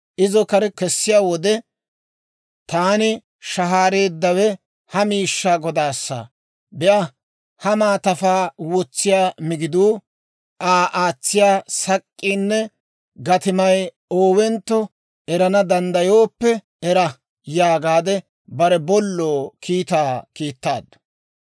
Izo kare kessiyaa wode, «Taani shahaareeddawe ha miishshaa godaassa; be'a; ha maatafaa wotsiyaa migiduu, Aa aatsiyaa sak'k'iinne gatimay oowentto erana danddayooppe era» yaagaadde bare bolloo kiitaa kiittaaddu.